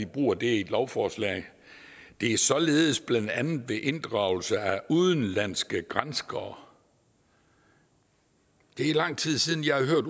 bruger det i et lovforslag det er således blandt andet ved inddragelse af udenlandske granskere det er lang tid siden jeg har